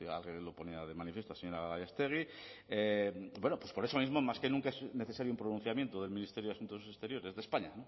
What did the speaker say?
lo ponía de manifiesto la señora gallástegui bueno pues por eso mismo más que nunca es necesario un pronunciamiento del ministerio de asuntos exteriores de españa